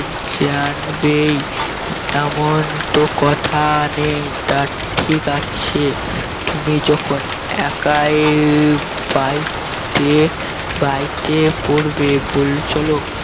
জানবেই এমন তো কথা নেই তা ঠিক আছে তুমি যখন একাই বাইতে বাইতে পারবে বলে চল